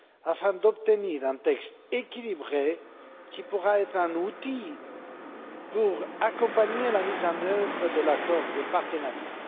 afin d'obtenir un texte équilibré, qui pourra être un outil pour accompagner la mise en œuvre de l'accord de partenariat.